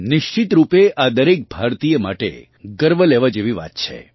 નિશ્ચિત રૂપે આ દરેક ભારતીય માટે ગર્વ લેવા જેવી વાત છે